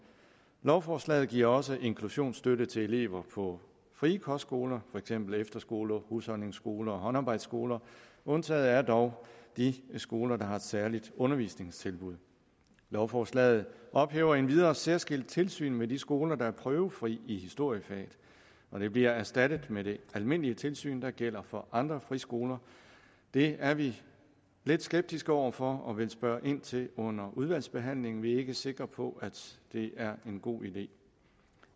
lovforslaget giver også inklusionsstøtte til elever på frie kostskoler for eksempel efterskoler husholdningsskoler og håndarbejdsskoler undtaget er dog de skoler der har et særligt undervisningstilbud lovforslaget ophæver endvidere særskilt tilsyn med de skoler der er prøvefri i historiefaget og det bliver erstattet med det almindelige tilsyn der gælder for andre friskoler det er vi lidt skeptiske over for og vi vil spørge ind til det under udvalgsbehandlingen vi er ikke sikre på at det er en god idé